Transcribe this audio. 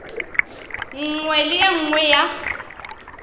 nngwe le ye nngwe ya